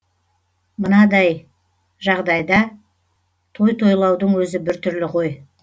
мынадай жағдайда той тойлаудың өзі біртүрлі ғой